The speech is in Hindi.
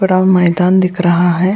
बड़ा मैदान दिख रहा है।